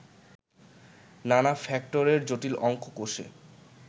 নানা ফ্যাক্টরের জটিল অঙ্ক কষে